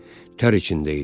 Tər içində idi.